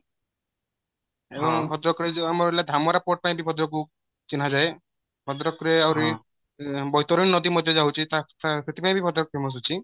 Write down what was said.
ଏବଂ ଭଦ୍ରକ ରେ ଯୋଉ ଆମର ହେଲା ଧାମରା port ପାଇଁ ବି ଭଦ୍ରକ କୁ ଚିହ୍ନାଯାଏ ଭଦ୍ରକ ରେ ଆହୁରି ବୈତରଣୀ ନଦୀ ମଧ୍ୟ ଯାଉଚି ସେଥିପାଇଁ ବି ଭଦ୍ରକ famous ଅଛି